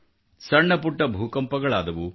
ಸಣ್ಣ ಪುಟ್ಟ ಭೂಕಂಪಗಳು ಆದವು